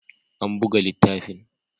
An buga littafin